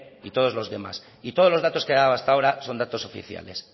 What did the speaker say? y todos los demás y todos los datos que ha dado hasta ahora son datos oficiales